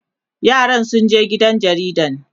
yaran sun je gidan jaridan